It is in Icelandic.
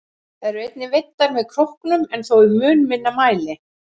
Þær eru einnig veiddar með krókum en þó í mun minni mæli.